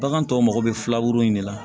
Bagan tɔw mako bɛ filaburu in de la